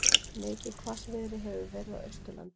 Mikið hvassviðri hefur verið á Austurlandi